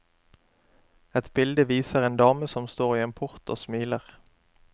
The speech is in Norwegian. Et bilde viser en dame som står i en port og smiler.